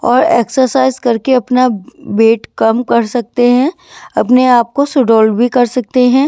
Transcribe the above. और एक्सरसाइज करके अपना वेट कम कर सकते हैं अपने आप को सुडौल भी कर सकते हैं।